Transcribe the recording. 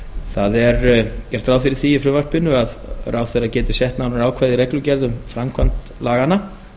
það er gert ráð fyrir því í frumvarpinu að ráðherra geti sett nánari ákvæði í reglugerð um framkvæmd laganna